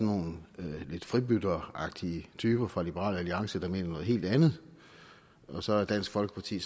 nogle lidt fribytteragtige typer fra liberal alliance der mener noget helt andet og så er dansk folkeparti